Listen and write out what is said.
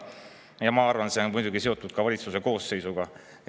Ja ma arvan, et see on muidugi seotud ka valitsuse koosseisuga.